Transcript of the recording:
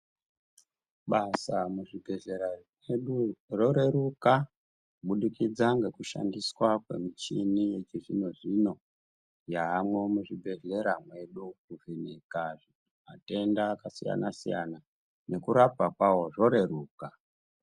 Basa muzvibhedhlera medu roreruka kubudikidza ngekushandiswa kwemichini yechizvino-zvino yaamwo muzvibhehlera medu kuti nyika matenda akasiyana-siyana nekurapwa kwawo zvoreruka.